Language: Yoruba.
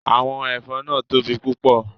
Awọn ẹfọn naa tobi pupọ